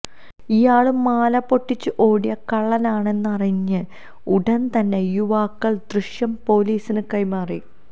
ഇയാള് മാല പൊട്ടിച്ചു ഓടിയ കള്ളനാണെന്നറിഞ്ഞ ഉടന് തന്നെ യുവാക്കള് ദൃശ്യം പൊലീസിന് കൈമാറി